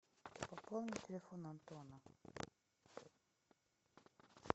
пополнить телефон антона